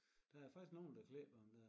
Der er faktisk nogen der klipper dem der